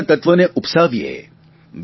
એકતાના તત્વને ઉપસાવીએ